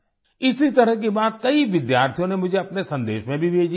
इसी तरह की बात कई विद्यार्थियों ने मुझे अपने संदेश में भी भेजी थी